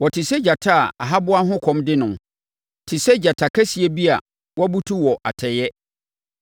Wɔte sɛ gyata a ahaboa ho kɔm de no, te sɛ gyata kɛseɛ bi a wabutu wɔ atɛeɛ.